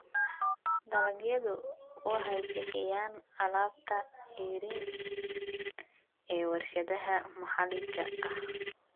Dalagyadu waxay bixiyaan alaabta ceeriin ee warshadaha maxalliga ah.